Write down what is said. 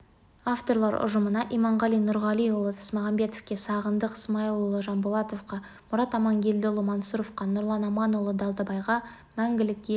авторлар ұжымына иманғали нұрғалиұлы тасмағамбетовке сағындық смаилұлы жамболатовқа мұрат амангелдіұлы мансұровқа нұрлан аманұлы далбайға мәңгілік ел